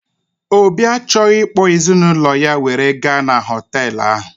Obi achọghị ịkpọ ezinaụlọ ya were gaa n'hotelu ahụ